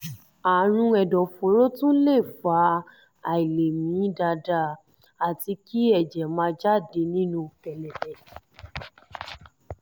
àrùn ẹ̀dọ̀fóró tún lè fa àìlèmí dáadáa àti kí ẹ̀jẹ̀ máa jáde nínú kẹ̀lẹ̀bẹ̀